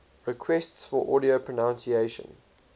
requests for audio pronunciation